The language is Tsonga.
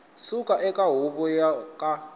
suka eka huvo yo ka